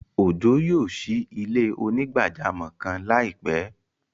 Ọjọ́ yóò ṣí ilẹ̀-onígbàjàmọ́ kan laipẹ.